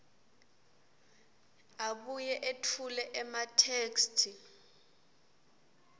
abuye etfule ematheksthi